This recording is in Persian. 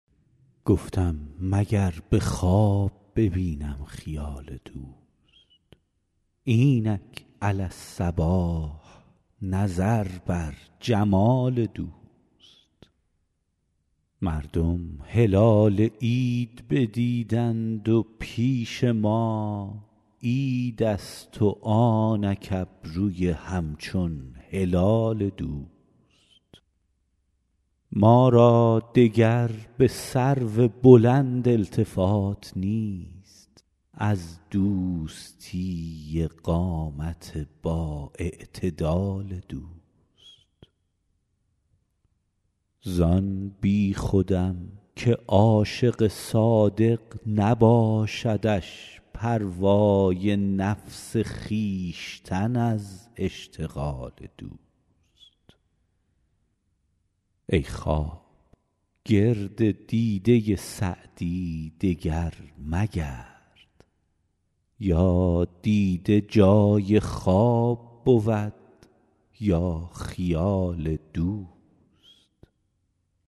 گفتم مگر به خواب ببینم خیال دوست اینک علی الصباح نظر بر جمال دوست مردم هلال عید ندیدند و پیش ما عیدست و آنک ابروی همچون هلال دوست ما را دگر به سرو بلند التفات نیست از دوستی قامت بااعتدال دوست زان بیخودم که عاشق صادق نباشدش پروای نفس خویشتن از اشتغال دوست ای خواب گرد دیده سعدی دگر مگرد یا دیده جای خواب بود یا خیال دوست